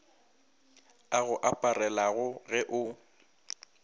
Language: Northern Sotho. a go aparelago ge o